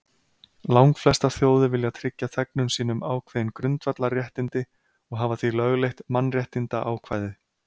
Langflestar þjóðir vilja tryggja þegnum sínum ákveðin grundvallarréttindi og hafa því lögleitt mannréttindaákvæði.